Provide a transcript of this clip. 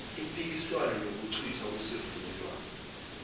impikiswano nokuchithwa kwesivumelwane